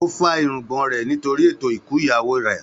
Ó fá irungbọ̀n rẹ̀ nítorí ètò ikú ìyàwó rẹ̀.